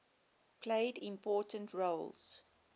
played important roles